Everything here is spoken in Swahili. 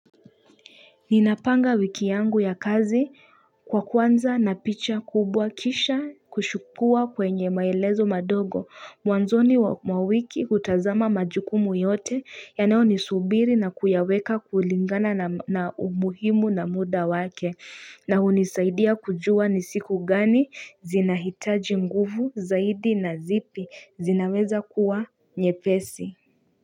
Ninapanga wiki yangu ya kazi kwa kwanza na picha kubwa kisha kushukua kwenye maelezo madogo Mwanzoni mwa wiki utazama majukumu yote yanao nisubiri na kuyaweka kulingana na umuhimu na muda wake na unisaidia kujua ni siku gani zinahitaji nguvu zaidi na zipi zinaweza kuwa nyepesi.